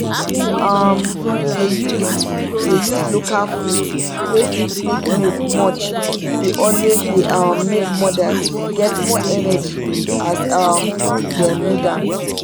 to um dey use dey use local foods wey fit make milk much dey always dey um make mothers get more energy as um them need am